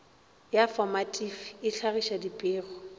ya fomatifi e hlagiša dipego